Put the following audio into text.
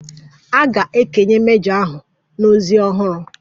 A ga-ekenye mejọ ahụ na ozi ọhụrụ.